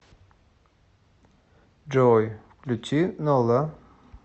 джой включи нола